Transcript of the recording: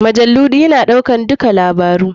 Majalu ya na ɗaukan dukka labarai.